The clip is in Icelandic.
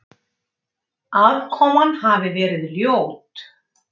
Aðkoman hafi verið ljót